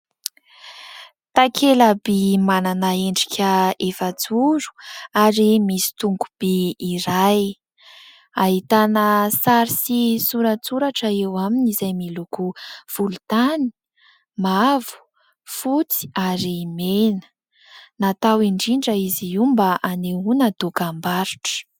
Takelaby manana endrika efa-joro ary misy tongobe iray. Ahitana sary sy soratsoratra eo aminy izay miloko volontany, mavo, fotsy ary mena. Natao indrindra izy io mba anehoana dokam-barotra.